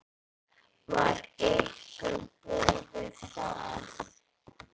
Var ykkur boðið það?